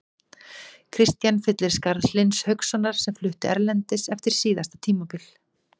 Kristian fyllir skarð Hlyns Haukssonar sem flutti erlendis eftir síðasta tímabil.